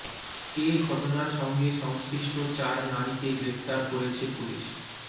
এ ঘটনার সঙ্গে সংশ্লিষ্ট চার নারীকে গ্রেফতার করেছে পুলিশ